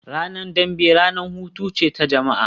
Ranar dambe ranar hutu ce ta jama'a